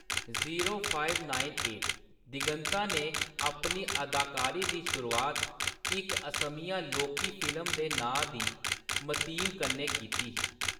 दिगंता ने अपनी अदाकारी दी शुरूआत इक असमिया लौह्‌‌की फिल्म दे नाम दी मतीम कन्नै कीती ही।